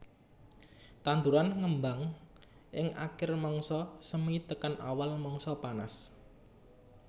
Tanduran ngembang ing akir mangsa semi tekan awal mangsa panas